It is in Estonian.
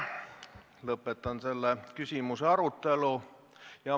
Lõpetan selle küsimuse arutelu.